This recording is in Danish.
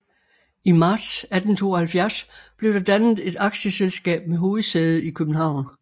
I marts 1872 blev der dannet et aktieselskab med hovedsæde i København